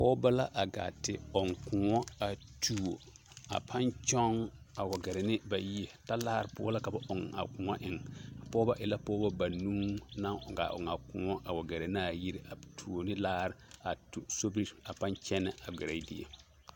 Pɔgebɔ la gaa te ɔŋ kõɔ a tuo a pãã kyɔŋ a wa gɛrɛ ne ba yie, talaare poɔ la ka ba ɔŋ a kõɔ eŋ, a pɔgebɔ e la pɔgebɔ banuu naŋ gaa ɔŋ a kõɔ wa gɛrɛ naa yiri a tuo ne laare a tu sobiri a pãã kyɛnɛ a gɛrɛ die.